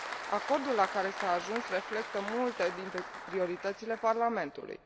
Acordul la care s a ajuns reflectă multe dintre prioritățile Parlamentului.